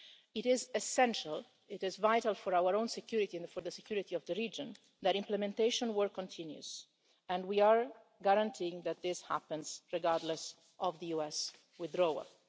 It is essential for our own security and for the security of the region that implementation work continues and we are guaranteeing that this happens, regardless of the US withdrawal.